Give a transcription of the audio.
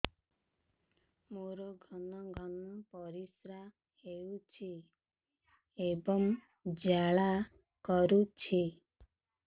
ମୋର ଘନ ଘନ ପରିଶ୍ରା ହେଉଛି ଏବଂ ଜ୍ୱାଳା କରୁଛି